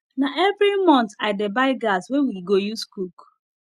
na every month i dey buy gas wey we go use cook